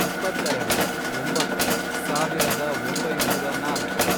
ಇಪ್ಪತ್ತೆರೆಡು, ಒಂಬತ್ತು, ಸಾವಿರದ ಒಂಬೈನೂರ ನಾಲ್ಕು